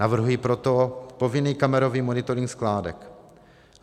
Navrhuji proto povinný kamerový monitoring skládek.